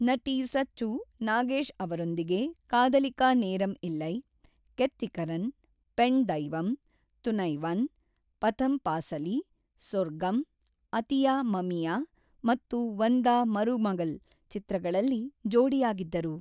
ನಟಿ ಸಚ್ಚು ನಾಗೇಶ್ ಅವರೊಂದಿಗೆ ಕಾದಲಿಕಾ ನೇರಮ್ ಇಲ್ಲೈ, ಕೆತ್ತಿಕರನ್, ಪೆಣ್‌ ದೈವಂ, ತುನೈವನ್, ಪಥಮ್ ಪಾಸಲಿ, ಸೊರ್ಗಮ್, ಅತಿಯಾ ಮಮಿಯಾ ಮತ್ತು ವಂದಾ ಮರುಮಗಲ್ ಚಿತ್ರಗಳಲ್ಲಿ ಜೋಡಿಯಾಗಿದ್ದರು.